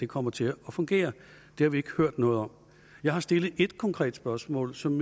kommer til at fungere det har vi ikke hørt noget om jeg har stillet ét konkret spørgsmål som